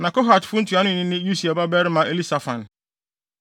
Na Kohatfo ntuanoni no ne Usiel babarima Elisafan.